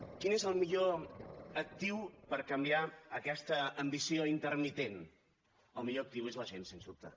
quin és el millor actiu per canviar aquesta ambició intermitent el millor actiu és la gent sens dubte